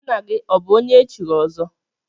Nna gị ọbụ onye echiri ọzọ?